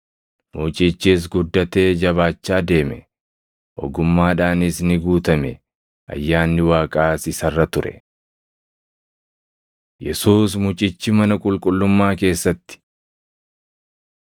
Mucichis guddatee jabaachaa deeme; ogummaadhaanis ni guutame; ayyaanni Waaqaas isa irra ture. Yesuus Mucichi Mana Qulqullummaa Keessatti